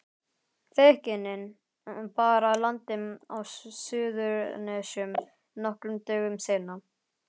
Feðginin bar að landi á Suðurnesjum nokkrum dögum seinna.